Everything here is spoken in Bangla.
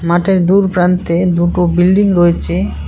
মাঠের দূরপ্রান্তে দুটো বিল্ডিং রয়ছে।